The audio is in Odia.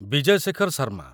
ବିଜୟ ଶେଖର ଶର୍ମା